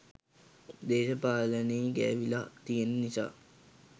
දේශපාලනේ ගෑවිලා තියන නිසා.